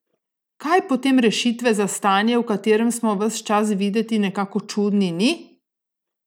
Kaj potem rešitve za stanje, v katerem smo ves čas videti nekako čudni, ni?